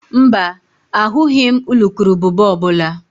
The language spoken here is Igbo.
Mba, ahụghị m urukurubụba ọ bụla